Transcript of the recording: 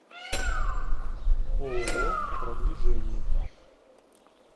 ооо продвижение